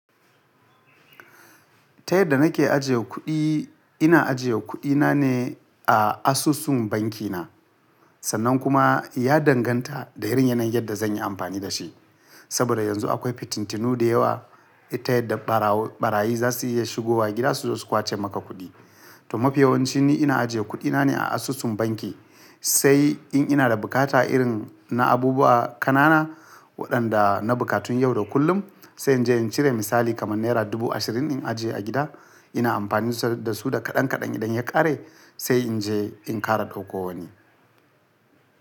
Ta yadda nake ajiye kuɗi, ina ajiye kuɗina ne a asusun banki na. Sannan kuma ya danganta da irin yanayin yadda zan yi amfani da shi. Saboda yanzu akwai fitintinu da yawa, ita da ɓarayi za su iya shigowa gida su zo su kwace maka kuɗi. To mafi yawanci ni ina ajiye kuɗina ne a asusun banki. Sai in ina da bukata irin na abubuwa ƙanana waɗanda na bukatun yau da kullum, sai in je in cire misali kaman naira dubu ashirin in ajiye a gida. Ina amfanin da su da kaɗan kaɗan idan ya ƙare sai in je in ƙara ɗauko wani.